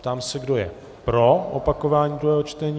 Ptám se, kdo je pro opakování druhého čtení.